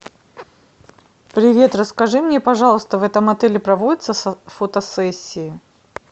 привет расскажи мне пожалуйста в этом отеле проводятся фотосессии